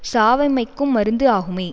சாவமைக்கும் மருந்து ஆகுமே